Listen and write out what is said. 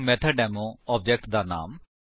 ਹੁਣ method demo object ਦਾ ਨਾਮ